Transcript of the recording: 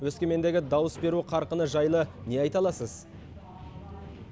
өскемендегі дауыс беру қарқыны жайлы не айта аласыз